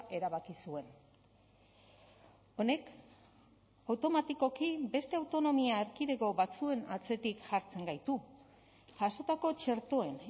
erabaki zuen honek automatikoki beste autonomia erkidego batzuen atzetik jartzen gaitu jasotako txertoen